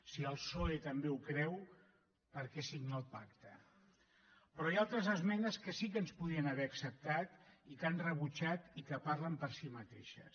si el psoe també ho creu per què signa el pacte però hi ha altres esmenes que sí que ens podrien haver acceptat i que han rebutjat i que parlen per si mateixes